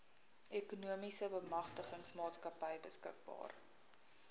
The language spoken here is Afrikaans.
ekonomiese bemagtigingsmaatskappy beskikbaar